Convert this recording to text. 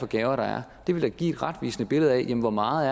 gaver vil da give et retvisende billede af hvor meget